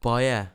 Pa je!